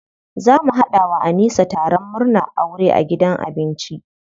Za mu haɗa wa Anisa taron murnan aure a gidan abinci.